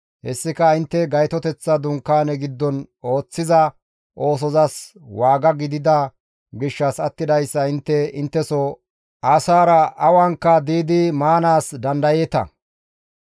Hessika intte Gaytoteththa Dunkaane giddon ooththiza oosozas waaga gidida gishshas attidayssa intte intteso asaara awanka diidi maanaas dandayeeta.